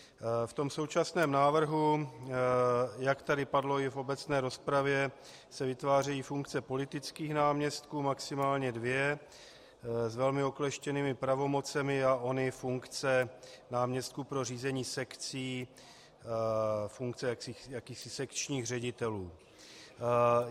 V tom současném návrhu, jak tady padlo i v obecné rozpravě, se vytvářejí funkce politických náměstků, maximálně dvě, s velmi okleštěnými pravomocemi, a ony funkce náměstků pro řízení sekcí, funkce jakýchsi sekčních ředitelů.